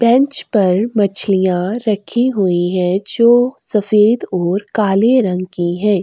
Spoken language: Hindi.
बेंच पर मछलियां रखी हुई है जो सफेद और काले रंग की है।